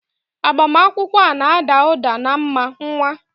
Agbamakwụkwọ a na-ada ụda na mma, nwa!